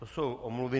To jsou omluvy.